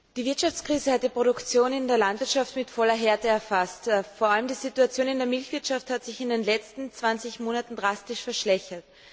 Die Wirtschaftskrise hat die Produktion in der Landwirtschaft mit voller Härte erfasst. Vor allem die Situation in der Milchwirtschaft hat sich in den letzten 20 Monaten drastisch verschlechtert.